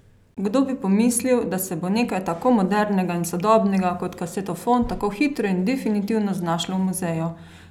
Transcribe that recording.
Kdo bi pomislil, da se bo nekaj tako modernega in sodobnega kot kasetofon tako hitro in definitivno znašlo v muzeju?